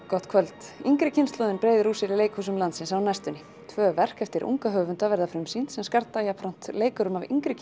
gott kvöld yngri kynslóðin breiðir úr sér í leikhúsum landsins á næstunni tvö leikverk eftir unga höfunda verða frumsýnd sem skarta jafnframt leikurum af yngri